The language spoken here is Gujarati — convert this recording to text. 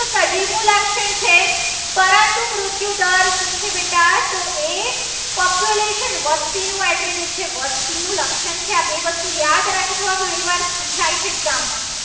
ઉધર શું છે. બેટા તો એ population વસ્તીનું છે. વસ્તીનું લક્ષણ છે. આ બે વસ્તુ યાદ રાખજો આ ઘણીવાર પુછાય છે. exam માં